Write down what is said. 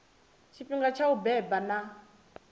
tshifhinga tsha u beba na